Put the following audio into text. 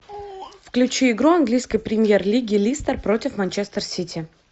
включи игру английской премьер лиги лестер против манчестер сити